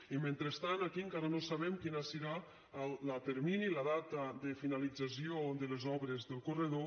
i mentrestant aquí encara no sabem quin serà el termini la data de finalització de les obres del corredor